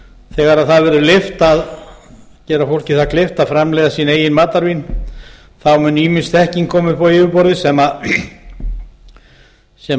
þegar það verður leyft að gera fólki kleift að framleiða sín eigin matarvín muni ýmis þekking koma upp á yfirborðið sem